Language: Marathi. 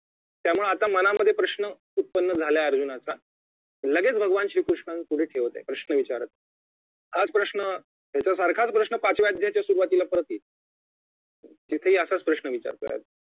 त्यामुळे आता मनामध्ये प्रश्न उत्पन्न झालाय अर्जुनाचा लगेच भगवान श्री कृष्णापुढे ठेवत आहे प्रश्न विचारत आहे हाच प्रश्न ह्याच्यासारखाच प्रश्न पाचव्या अध्यायाच्या सुरुवातीला पडतो तिथेही असंच प्रश्न विचारतोय अर्जुन